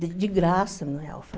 De graça, não é alfa.